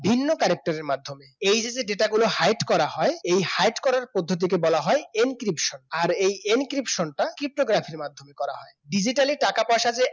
ভিন্ন character র মাধ্যমে এই যদি data গুলো hide করা হয় এই hide করার পদ্ধতিকে বলা হয় encryption আর সেটা cryptography মাধ্যমে করা হয় digital টাকা পয়সা